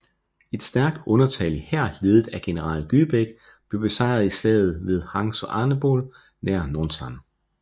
Et stærkt undertallig hær ledet af general Gyebaek blev besejret i slaget ved Hwangsanbeol nær Nonsan